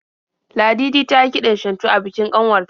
Ladidi tayi kiɗan shantu a bikin kanwar ta.